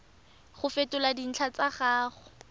go fetola dintlha tsa gago